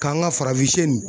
K'an ka farafin siyɛ nin